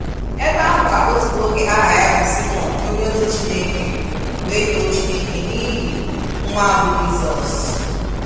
Ebe ahụ ka otu nwoke aha ya bụ Simeon onye ozi Chineke wee too Chineke n'ihi nwa a bụ Jisọs